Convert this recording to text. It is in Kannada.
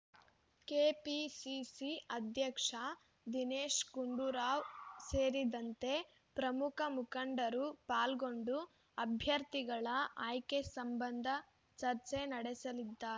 ಕೆಪಿಸಿಸಿ ಅಧ್ಯಕ್ಷ ದಿನೇಶ್‌ಗುಂಡೂರಾವ್ ಸೇರಿದಂತೆ ಪ್ರಮುಖ ಮುಖಂಡರು ಪಾಲ್ಗೊಂಡು ಅಭ್ಯರ್ಥಿಗಳ ಆಯ್ಕೆ ಸಂಬಂಧ ಚರ್ಚೆ ನಡೆಸಲಿದ್ದಾರೆ